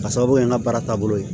K'a sababu kɛ n ka baara taabolo ye